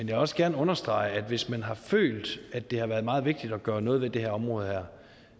vil også gerne understrege at hvis man har følt at det har været meget vigtigt at gøre noget ved det her område er